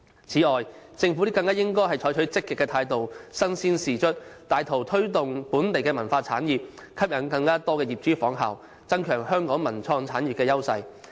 此外，政府更應採取積極態度，身先士卒，帶頭推動本地文化產業，吸引更多業主仿效，增強香港文化及創意產業優勢。